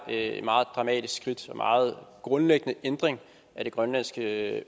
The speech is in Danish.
det er et meget dramatisk skridt og en meget grundlæggende ændring af det grønlandske